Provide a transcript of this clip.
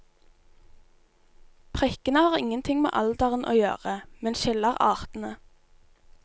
Prikkene har ingenting med alderen å gjøre, men skiller artene.